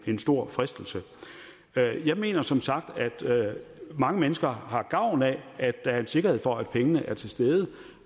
en stor fristelse jeg mener som sagt at mange mennesker har gavn af at der er en sikkerhed for at pengene er til stede